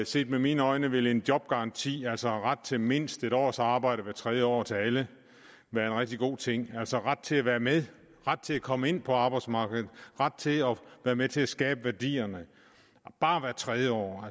set med mine øjne vil en jobgaranti altså ret til mindst en års arbejde hvert tredje år til alle være en rigtig god ting altså ret til at være med ret til at komme ind på arbejdsmarkedet ret til at være med til at skabe værdierne bare hvert tredje år